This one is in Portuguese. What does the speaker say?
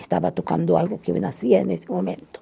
Estava tocando algo que o nascia nesse momento.